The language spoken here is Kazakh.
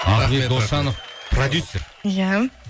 ахмет досжанов продюссер иә